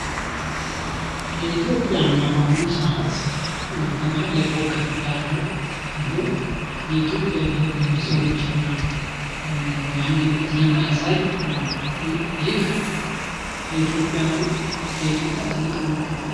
የኢትዮጵያ አርማ በአሁኑ ሰዓት በማህል ላይ ኮኮብ ያለው ሲሆን የኢትዮጵያ ብሄር ብሄረሰቦችን እና አንድነት የሚያሳይ ነው። ይህ የኢትዮጵያ አርማ ለኢትዮጵያ ትልቅ ምልክት ነው ።